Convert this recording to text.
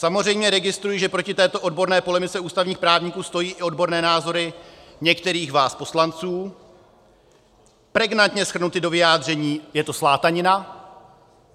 Samozřejmě registruji, že proti této odborné polemice ústavních právníků stojí i odborné názory některých vás poslanců, pregnantně shrnuty do vyjádření: je to slátanina.